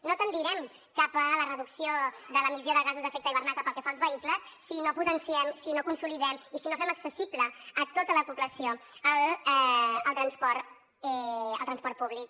no tendirem cap a la reducció de l’emissió de gasos d’efecte hivernacle pel que fa als vehicles si no potenciem si no consolidem i si no fem accessible a tota la població el transport públic